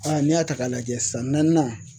n'i y'a ta k'a lajɛ san naaninan